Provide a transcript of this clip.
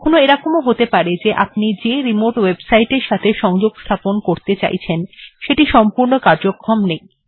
কখনো এরকম হতে পারে যে আপনি যে রিমোট ওএবসাইট এর সংযোগ স্থাপন করতে চাইছেন সেটি সম্পূর্ণ কার্যক্ষম নেই